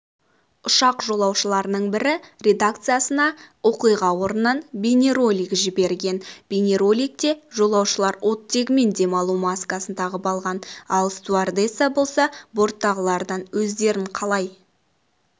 ұшақ жолаушыларының бірі редакциясына оқиға орнынан бейнеролик жіберген бейнероликте жолаушылар оттегімен демалу маскасын тағып алған ал стюардесса болса борттағылардан өздерін қалай